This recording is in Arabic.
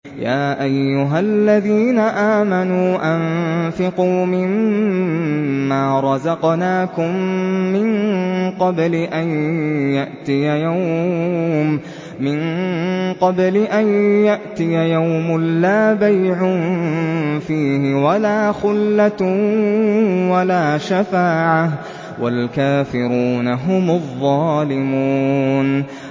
يَا أَيُّهَا الَّذِينَ آمَنُوا أَنفِقُوا مِمَّا رَزَقْنَاكُم مِّن قَبْلِ أَن يَأْتِيَ يَوْمٌ لَّا بَيْعٌ فِيهِ وَلَا خُلَّةٌ وَلَا شَفَاعَةٌ ۗ وَالْكَافِرُونَ هُمُ الظَّالِمُونَ